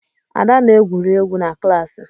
Ada na-egwuri egwu na klaasị.